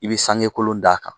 I bɛ sange kolon d' a kan